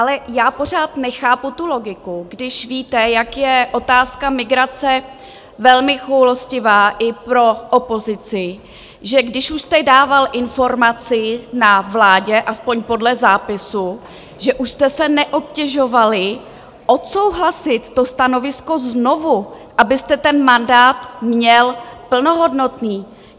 Ale já pořád nechápu tu logiku, když víte, jak je otázka migrace velmi choulostivá i pro opozici, že když už jste dával informaci na vládě, aspoň podle zápisu, že už jste se neobtěžovali odsouhlasit to stanovisko znovu, abyste ten mandát měl plnohodnotný.